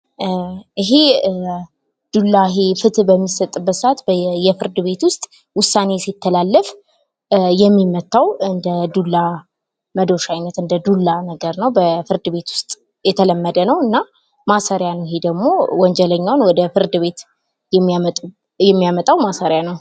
ይሂ ዱላ ፍትህ በሚሰጥበት ሰዓት በፍርድ ቤት ውስጥ ዉሳኔ ሲተላለፍ የሚመታው እንደዱላ መዶሻ አይነት እንደ ዱላ የሆነ ነገር ነው። በፍርድ ቤት ዉስጥ የተለመደ ነው። እና ማሰሪያ ነው እሂ ደግሞ ወንጀለኞችን ወደ ፍርድ ቤት የሚያመጣው ማሰሪያ ነው።